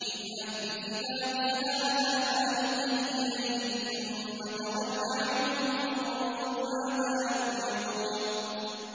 اذْهَب بِّكِتَابِي هَٰذَا فَأَلْقِهْ إِلَيْهِمْ ثُمَّ تَوَلَّ عَنْهُمْ فَانظُرْ مَاذَا يَرْجِعُونَ